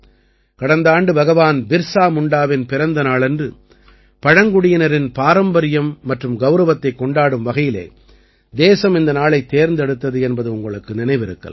கடந்த ஆண்டு பகவான் பிர்சா முண்டாவின் பிறந்த நாளன்று பழங்குடியினரின் பாரம்பரியம் மற்றும் கௌரவத்தைக் கொண்டாடும் வகையிலே தேசம் இந்த நாளைத் தேர்ந்தெடுத்தது என்பது உங்களுக்கு நினைவிருக்கலாம்